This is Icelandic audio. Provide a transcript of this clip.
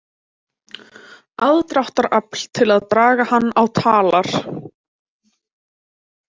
Aðdráttarafl til að draga hann á talar.